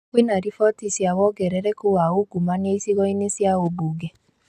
Kwĩna riboti cia wongerereku wa ungumania icigo-inĩ cia ũmbunge